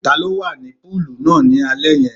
Ta ló wà ní púùlù náà ni alẹ́ yẹn?